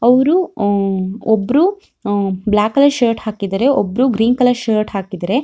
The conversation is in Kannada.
ಅವ್ರು ಅಹ್ ಒಬ್ರು ಅಹ್ ಬ್ಲಾಕ್ ಕಲರ್ ಶರ್ಟ್ ಹಾಕಿದರೆ ಒಬ್ರು ಗ್ರೀನ್ ಕಲರ್ ಶರ್ಟ್ ಹಾಕಿದರೆ.